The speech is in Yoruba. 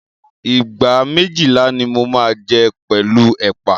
ìgbá méjìlá ni mo máa jẹ́ pẹ̀lú ẹ̀pà.